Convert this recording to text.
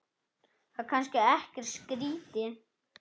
Það er kannski ekkert skrýtið?